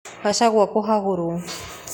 Gachagua kũhagũrwo